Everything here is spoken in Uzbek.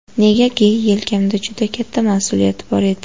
Negaki, yelkamda juda katta mas’uliyat bor edi.